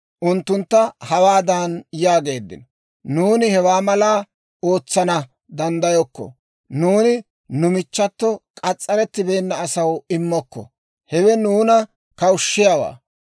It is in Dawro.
unttuntta hawaadan yaageeddino; «Nuuni hewaa mallaa ootsana danddayokko; nuuni nu michchato k'as's'arettibeenna asaw immokko; hewe nuuna kawushshiyaawaa.